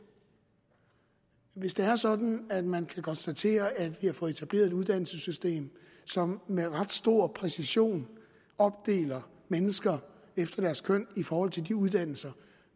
hvis det er sådan at man kan konstatere at vi har fået etableret et uddannelsessystem som med ret stor præcision opdeler mennesker efter deres køn i forhold til de uddannelser